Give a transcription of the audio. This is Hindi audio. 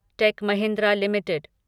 take Mahindra limited